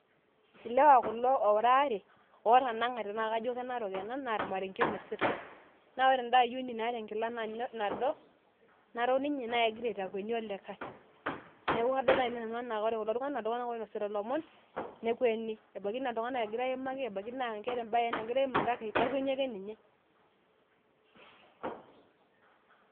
ilewa kulo oora aare ootanang'ate, kajo ke narok ena, naa ormarenke inosita, naa ore eda ayioni naata enkila nado, naok ninye naa kegira aitakweni olikae. neeku kadol naai nanu enaa ore kulo tung'anak, naa iltunganak oinosita ilomon, ikweni, ebaiki naa iltung'ana egira aimaki